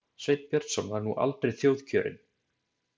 Sveinn Björnsson var nú aldrei þjóðkjörinn.